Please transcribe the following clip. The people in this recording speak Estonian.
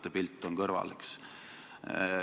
Tänan!